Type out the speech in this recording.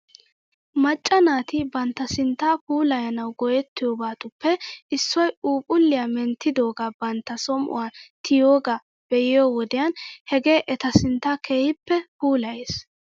Macca naati bantta sinttaa puulayanaw go'etiyoobatuppe issoy phuuphlliyaa menttidoogaa bantta som'uwan tiyiyoogaa be'iyoo wodiyan hegee eta sinttaa keehippe puulayes .